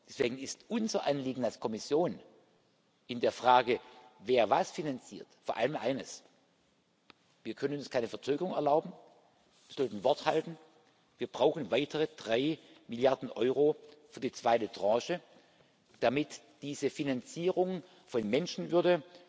Deswegen ist unser Anliegen als Kommission in der Frage, wer was finanziert, vor allem eines Wir können uns keine Verzögerung erlauben, wir sollten Wort halten, wir brauchen weitere drei Milliarden Euro für die zweite Tranche, damit diese Finanzierung von Menschenwürde